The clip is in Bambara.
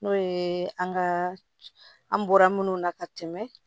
N'o ye an ka an bɔra minnu na ka tɛmɛ